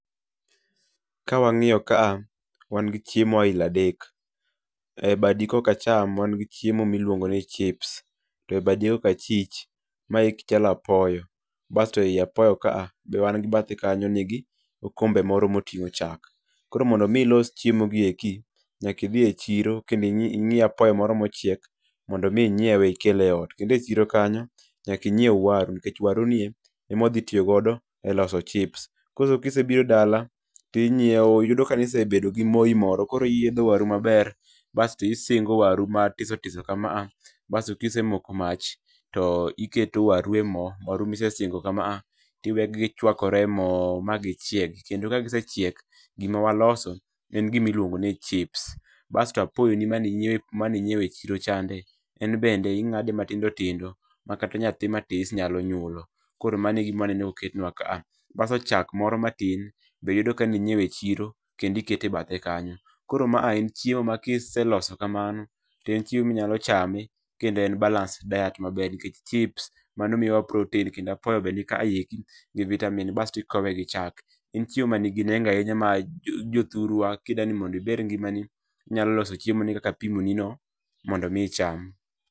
Kawang'iyo ka wan gi chiemo aila adek. E badi koka acham wan gi chiemo miluongo ni chips to ebadi koka achich maeki chalo apoyo, basto ei apoyo kaa be wan gi bathe kanyo nigi okombe moro moting'o chak. Koro mondo mi ilos chiemo gi eki, nyaka idhi e chiro kendo ing'i apoyo moro mochiek mondo mi inyiewe ikele e ot. Kendo e chiro kanyo nyaka inyieu waru nikech waru ni e emwadhi tiyo godo e loso chips. Koso kisebiro dala, ting'ieo yudo ka ne isebedo gi moi moro koro iyiedho waru maber basto isingo waru matiso tiso kama a, baso kisemoko mach, to iketo waru e mo waru misesingo kama a, tiwegi gichwakore e mo magichieg. Kendo kagisechiek gima waloso en gima iluongo ni chips. Basto apoyoni mane inyieo inyiewe e chiro chande en bende ing'ade matindo tindo makata nyathi matis nyalo nyulo. Koro mano e gima aneno ka oketnwa ka a, baso chak moro matin be yudo ka ne inyieo e chiro kendo ikete e bethe kanyo. Koro ma a en chiemo ma kiseloso kamano to en chiemo minyalo chame kendo en balanced diet maber nikech chips mano miyowa protein, kendo apoyo be nikaeki gi vitamin bas ti ikowe gi chak. En chiemo ma nigi nengo ahinya ma ma jothurwa kidwani mondo iger ngimani, to inyalo loso chiemoni kaka apimoni no mondo mi icham.